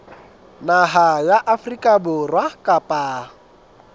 naha ya afrika borwa kapa